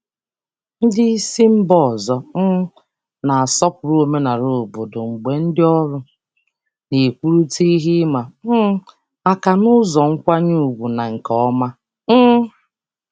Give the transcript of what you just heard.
Ndị oga si mba ọzọ na-akwanyere omenala obodo ùgwù mgbe ndị ọrụ na-ekwupụta nsogbu n'ụzọ nkwanye ùgwù na nke doro anya.